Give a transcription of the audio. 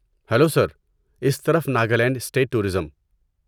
Hello sir! اس طرف Nagaland state tourism.